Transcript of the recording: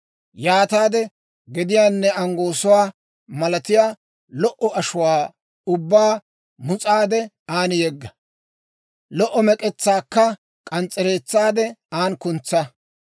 Yaataade gediyaanne anggoosuwaa malatiyaa lo"o ashuwaa ubbaa mus'aade, an yegga; lo"o mek'etsaakka k'ans's'ereetsaade, an kuntsa.